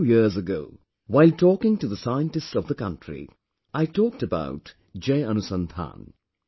A few years ago, while talking to the scientists of the country, I talked about Jai Anusandhan